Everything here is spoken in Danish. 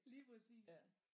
Lige præcis